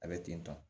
A bɛ ten tɔ